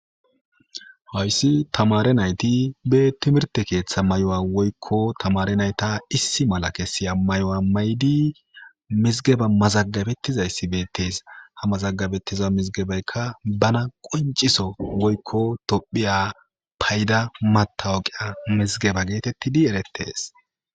hayssi tamare nayti be timirte keeththa may7o7a woykko tamare nayta issi mala kessiya may7o7a maydi mizgeba mazagabettizayssi beettees ha mazagabettiza mizgebeykka bana qonciso woykko tophiya payda matawoqiya mizgeba geetettidi erettees